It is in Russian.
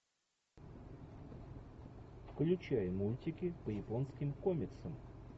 включай мультики по японским комиксам